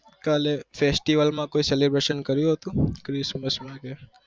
કાલે festival માં કોઈ calibration કર્યું હતું